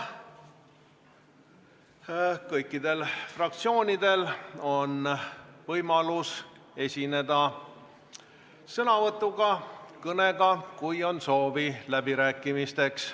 Kõikidel fraktsioonidel on võimalus esineda sõnavõtuga, kõnega, kui on soovi läbirääkimisteks.